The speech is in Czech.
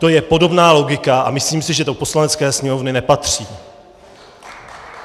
To je podobná logika a myslím si, že do Poslanecké sněmovny nepatří.